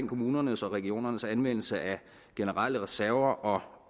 kommunernes og regionernes anvendelse af generelle reserver og